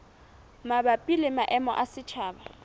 mabapi le maemo a setjhaba